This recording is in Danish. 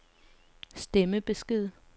stemmebesked